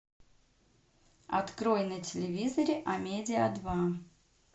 открой на телевизоре амедиа два